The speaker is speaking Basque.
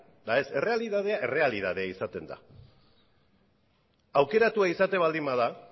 eta ez errealitatea errealitatea izaten da aukeratua izaten baldin bada